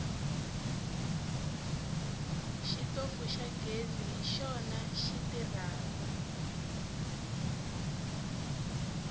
xitofu xa ghezi hi xona xi tirhako